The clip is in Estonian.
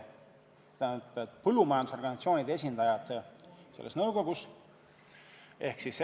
Põllumajandusorganisatsioonide esindajad on nõukogus ikka olnud.